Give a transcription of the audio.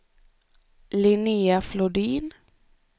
Linnéa Flodin